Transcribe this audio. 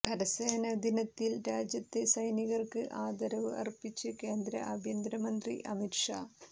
കരസേനാ ദിനത്തിൽ രാജ്യത്തെ സൈനികർക്ക് ആദരവ് അർപ്പിച്ച് കേന്ദ്ര ആഭ്യന്തരമന്ത്രി അമിത് ഷാ